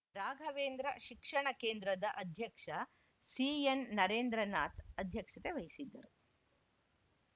ರಾಘವೇಂದ್ರ ಶಿಕ್ಷಣ ಕೇಂದ್ರದ ಅಧ್ಯಕ್ಷ ಸಿಎನ್‌ನರೇಂದ್ರನಾಥ್‌ ಅಧ್ಯಕ್ಷತೆ ವಹಿಸಿದ್ದರು